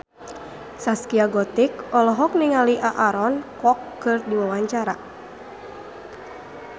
Zaskia Gotik olohok ningali Aaron Kwok keur diwawancara